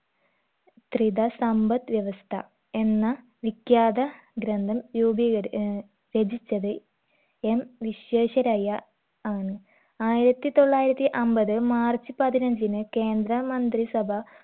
ത്രിത സമ്പദ് വ്യവസ്ഥ എന്ന വിഖ്യാത ഗ്രന്ഥം രൂപീകരി ഏർ രചിച്ചത് എം വിശ്വേശ്വരയ്യ ആണ് ആയിരത്തി തൊള്ളായിരത്തി അമ്പത് മാർച്ച് പതിനഞ്ചിന് കേന്ദ്ര മന്ത്രി സഭ